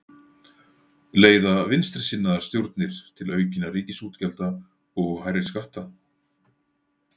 Leiða vinstrisinnaðar stjórnir til aukinna ríkisútgjalda og hærri skatta?